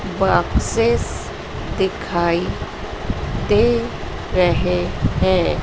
Boxes दिखाई दे रहे हैं।